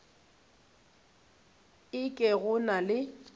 e ke go na le